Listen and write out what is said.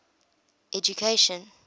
education